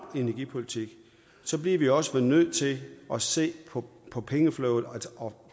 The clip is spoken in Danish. energipolitik bliver vi også nødt til at se på på pengeflowet og